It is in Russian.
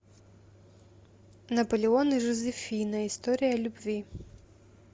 наполеон и жозефина история любви